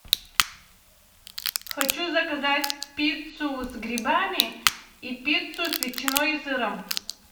хочу заказать пиццу с грибами и пиццу с ветчиной и сыром